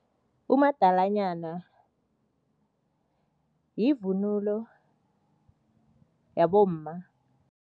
Umadalanyana yivunulo yabomma.